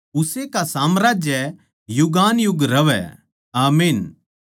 उस्से का साम्राज्य युगानुयुग रहवै आमीन